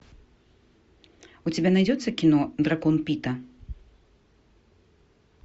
у тебя найдется кино дракон пита